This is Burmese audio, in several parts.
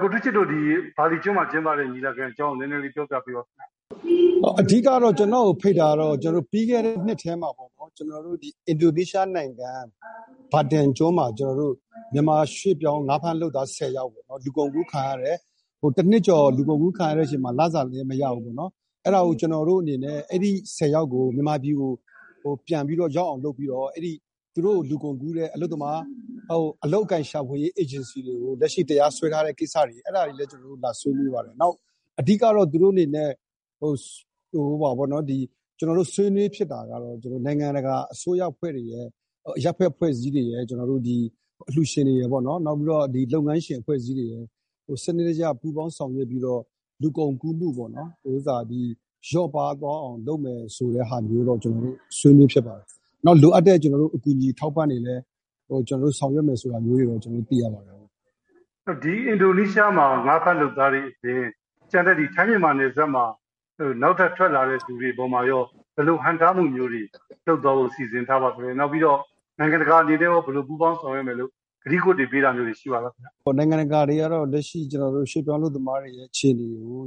ကိုထူးချစ်တို့ ဘာလီကျွန်းမှာကျင်းပတဲ့ညီလာခံအကြောင်း နည်းနည်းလေး ပြောပြပေးပါခင်ဗျ။ အဓိက-ကတော့ ကျနော့်ကိုဖိတ်တာကတော့ ပြီးခဲ့တဲ့နှစ်ထဲမှာ ကျနော်တို့ အင်ဒိုနီးရှားနိုင်ငံ မာတင်ကျွန်းမှာ ကျနော်တို့ မြန်မာရွှေ့ပြောင်း ငါးဖမ်းလုပ်သားဆယ်ယောက် လူကုန်ကူးခံရတယ်။ တနှစ်ကျော်လူကုန်ကူးခံရတဲ့အချိန်မှာ လစာလည်းမရဘူး၊ အဲဒီဆယ်ယောက်ကို မြန်မာပြည်ကို ပြန်ရောက်အောင်လုပ်ပြီးတော့ သူတို့ကိုလူကုန်ကူးတဲ့ အလုပ်အကိုင်ရှာဖွေရေးအေဂျင်စီတွေကို လက်ရှိ တရားစွဲထားတဲ့ကိစ္စတွေ...အဲဒါတွေလည်း ကျနော်တို့လာဆွေးနွေးပါတယ်။ အဓိက-ကတော့ ဆွေးနွေးဖြစ်တာကတော့ နိုင်ငံတကာအစိုးရအဖွဲ့တွေရယ်၊ အရပ်ဖက်အဖွဲ့အစည်းတွေရယ်၊ အလှူရှင်တွေရယ်၊ လုပ်ငန်းရှင်အဖွဲ့အစည်းတွေရယ် စနစ်တကျ ပူးပေါင်းဆောင်ရွက်ပြီးတော့ လူကုန်ကူးမှုပေါ့-လျော့ပါးသွားအောင်လုပ်မယ်ဆိုတဲ့ဟာမျိုးတော့ ဆွေးနွေးဖြစ်ပါတယ်။ နောက် လိုအပ်တဲ့အကူအညီ အထောက်အပံ့တွေလည်း ဆောင်ရွက်မယ်ဆိုတာမျိုးတွေလည်း ကျနော်တို့သိရပါတယ်။ အင်ဒိုနီးရှားမှာ ငါးဖမ်းလုပ်သားတွေအပြင် ထိုင်းမြန်မာနယ်စပ်မှာ နောက်ထပ်ထွက်လာတဲ့လူတွေအပေါ်မှာရော ဘယ်လိုခံစားမှုမျိုးတွေ လုပ်သွားဖို့ စီစဉ်ထားပါသလဲ။ နိုင်ငံတကာအနေနဲ့ရော ဘယ်လို ပူးပေါင်းဆောင်ရွက်မယ်လို့ ကတိကဝတ်ပေးတာမျိုးတွေ ရှိပါသလား။ နိုင်ငံတကာကတော့ လက်ရှိ ရွှေ့ပြောင်းအလုပ်သမားတွေရဲ့အခြေအနေကို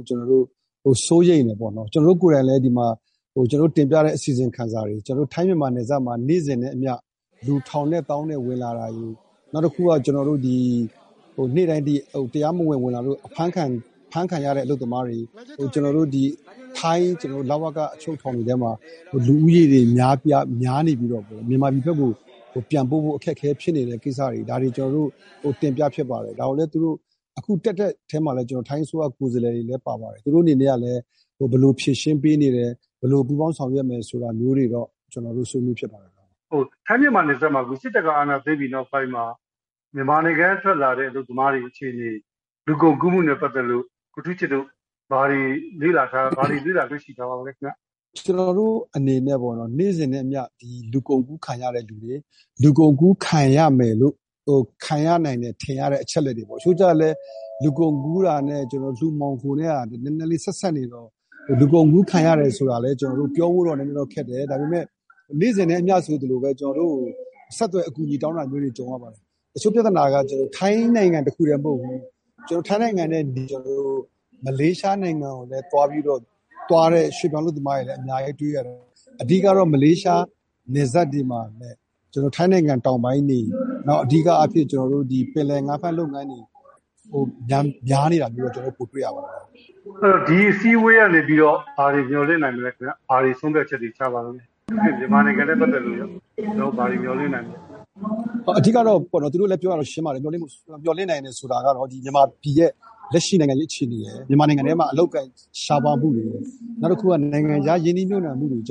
စိုးရိမ်တယ်ပေါ့နော်။ ကျနော်တို့ကိုယ်တိုင်လည်း ဒီမှာ ကျနော်တို့တင်ပြတဲ့အစီရင်ခံစာတွေကို ထိုင်းမြန်မာနယ်စပ်မှာ နေ့စဉ်နဲ့အမျှ လူ ထောင်နဲ့သောင်းနဲ့ဝင်လာတာတွေကို...နောက်တခုက နေ့တိုင်း တရားမဝင် ဝင်လာလို့ အဖမ်းခံရတဲ့အလုပ်သမားတွေ၊ နောက် ထိုင်း လဝက အချုပ်ထောင်တွေထဲမှာ လူဦးရေတွေများနေပြီးတော့ မြန်မာပြည်ဘက်ကို ပြန်ပို့ဖို့ အခက်အခဲဖြစ်နေတဲ့ကိစ္စတွေ၊ ဒါတွေကို ကျနော်တို့ တင်ပြဖြစ်ပါတယ်။ အခု တက်တဲ့အထဲမှာလည်း ထိုင်းအစိုးရ ကိုယ်စားလှယ်တွေလည်း ပါပါတယ်။ သူတို့အနေနဲ့ကလည်း ဘယ်လိုဖြေရှင်းပေးနေတယ်၊ ဘယ်လို ပူးပေါင်းဆောင်ရွက်မယ်ဆိုတာမျိုးတွေတော့ ဆွေးနွေးဖြစ်ပါတယ်။ စစ်တပ်ကအာဏာသိမ်းပြီးနောက်ပိုင်း ထိုင်းမြန်မာနယ်စပ်မှာ မြန်မာနိုင်ငံကထွက်လာတဲ့အလုပ်သမားတွေအခြေအနေ လူကုန်ကူးမှုနဲ့ပတ်သက်လို့ ကိုထူးချစ်တို့ ဘာတွေလေ့လာတွေ့ရှိထားပါသလဲခင်ဗျ။ ကျနော်တို့အနေနဲ့ နေ့စဉ်နဲ့အမျှ လူကုန်ကူးခံရတဲ့သူတွေ၊ လူကုန်ကူးခံရမယ်လို့- ခံရနိုင်တယ်လို့ ထင်ရတဲ့အချက်အလက်တွေပေါ့၊ တချို့ကျတော့လည်း လူကုန်ကူးတာနဲ့လူမှောင်ခိုနဲ့က နည်းနည်းလေး ဆက်စပ်နေတော့ လူကုန်ကူးခံရတယ်ဆိုတာလည်း ပြောဖို့တော့ နည်းနည်းလေးပြောဖို့တော့ခက်တယ်။ ဒါပေမယ့်လည်း နေ့စဉ်နဲ့အမျှဆိုသလို ကျနော်တို့ကို ဆက်သွယ်အကူအညီတောင်းတာမျိုးတွေ ကြုံရပါတယ်။ တချို့ပြဿနာက ထိုင်းနိုင်ငံတခုတည်းမဟုတ်ဘူး။ ထိုင်းနိုင်ငံကနေ မလေးရှားနိုင်ငံကိုလည်း သွားတဲ့ရွှေ့ပြောင်းအလုပ်သမားတွေလည်း အများကြီးတွေ့ရတယ်။ အဓိက-ကတော့ မလေးရှားနယ်စပ်တွေမှာ ထိုင်းနိုင်ငံတောင်ပိုင်းတွေ၊ နောက် အဓိကအားဖြင့် ပင်လယ်ငါးဖမ်းလုပ်ငန်းတွေမှာ ပိုများနေတာ ကျနော်တို့တွေ့ရပါတယ်။ ဒီအစည်းအဝေးကနေပြီးတော့ ဘာတွေ မျှော်လင့်နိုင်မလဲခင်ဗျ။ မြန်မာနိုင်ငံနဲ့ပတ်သက်လို့ရော ဘာတွေ ဆုံးဖြတ်ချက်တွေ ချပါသလဲ။ မြန်မာနိုင်ငံနဲ့ပတ်သက်လို့ ဘာတွေ မျှော်လင့်နိုင်သလဲ။ အဓိက-ကတော့ သူတို့လည်းပြောတာ ရှင်းပါတယ်။ မျှော်လင့်နိုင်တယ်ဆိုတာကတော့ မြန်မာပြည်ရဲ့ လက်ရှိနိုင်ငံရေးအခြေအနေရယ်၊ မြန်မာနိုင်ငံထဲမှာ အလုပ်အကိုင်ရှားပါးမှုတွေရယ်၊ နောက်တခုက နိုင်ငံခြားရင်းနှီးမြှုပ်နှံမှုတွေ မြ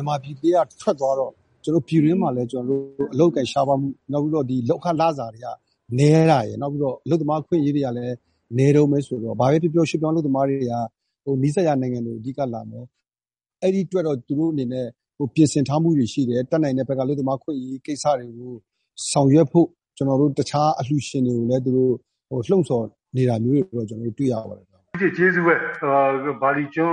န်မာပြည်ထဲကထွက်သွားတော့ ပြည်တွင်းမှာလည်း အလုပ်အကိုင်ရှားပါးမှု၊ နောက် လုပ်ခလစာနည်းတာရယ်။ နောက် အလုပ်သမားအခွင့်အရေးတွေကလည်း နည်းတုန်းပဲဆိုတော့ ဘာပဲပြောပြော ရွှေ့ပြောင်းအလုပ်သမားတွေက နီးစပ်ရာနိုင်ငံတွေကို အဓိကလာပြီးတော့...အဲဒီအတွက်တော့ သူတို့အနေနဲ့ ပြင်ဆင်ထားမှုတွေရှိတယ်။ တတ်နိုင်တဲ့ဘက်က အလုပ်သမားအခွင့်အရေးကိစ္စတွေကို ဆောင်ရွက်ဖို့ တခြားအလှူရှင်တွေကိုလည်း လှုံ့ဆော်နေတာမျိုးတွေကိုလည်း ကျနော်တို့တွေ့ရပါတယ်။ ဦးထူးချစ်- ကျေးဇူးပဲ။ ဘာလီကျွန်